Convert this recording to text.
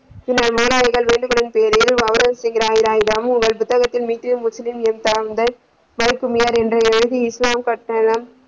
பின்னர் முகலாயகர் வேண்டுமென்ற பெயரில் புத்தகத்தில் ஹிந்து முஸ்லிம , எழுதி